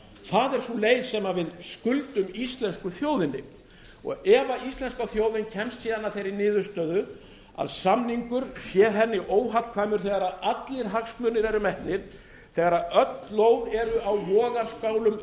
það er sú leið sem við skuldum íslensku þjóðinni ef íslenska þjóðin kemst síðan að þeirri niðurstöðu að samningur sé henni óhagkvæmur þegar allir hagsmunir eru metnir þegar öll lóð eru á vogarskálum